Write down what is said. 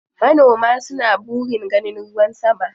Manoma suna burin ganin ruwan sama.